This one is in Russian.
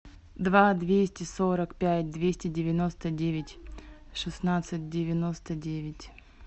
два двести сорок пять двести девяносто девять шестнадцать девяносто девять